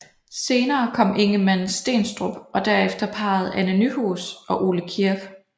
Senere kom Ingemann Stenstrup og derefter parret Anne Nyhus og Ole Kirk